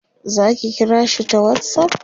zaki kira shi ta whatsapp?